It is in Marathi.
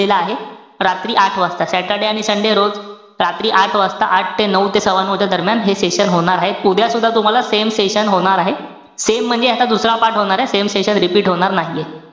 आहे रात्री आठ वाजता. Saturday आणि sunday रोज रात्री आठ वाजता, आठ ते नऊ ते सव्वानऊ च्या दरम्यान हे session होणार आहे. उद्या सुद्धा तुम्हाला same session होणार आहे. Same म्हणजे याचा दुसरा part होणारे. Same session repeat होणार नाहीये.